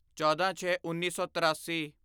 ਚੌਦਾਂਛੇਉੱਨੀ ਸੌ ਤਰਾਸੀ